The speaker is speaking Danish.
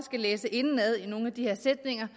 læse indenad i nogle af de her sætninger